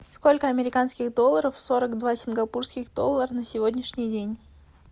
сколько американских долларов сорок два сингапурских доллар на сегодняшний день